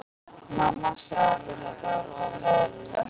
Mamma sagði mér að þetta væri ofur eðlilegt.